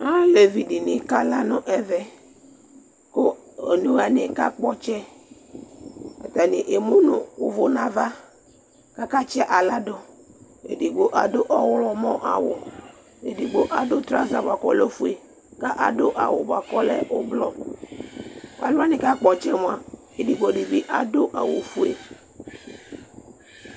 Alevi dìní kala nʋ ɛvɛ kʋ ɔne wani kakpɔ ɔtsɛ Atani emu nʋ ʋvu nʋ ava kʋ akatsi aɣla du Ɛdigbo adu ɔwlɔmɔ awu Ɛdigbo adu traza bʋakʋ ɔlɛ ɔfʋe kʋ adu awu bʋakʋ ɔlɛ ʋblu Alu wani kakpɔ ɔtsɛ mʋa ɛdigbo di bi adu awu fʋe